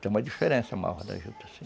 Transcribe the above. Tem uma diferença a malva da juta, sim.